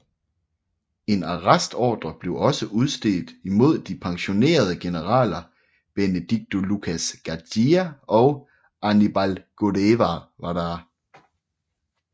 En arrestordre blev også udstedt imod de pensionerede generaler Benedicto Lucas García og Aníbal Guevara